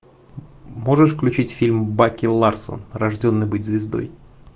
можешь включить фильм баки ларсон рожденный быть звездой